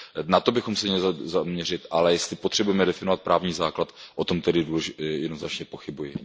Na to bychom se měli zaměřit, ale jestli potřebujeme definovat právní základ, o tom tedy jednoznačně pochybuji.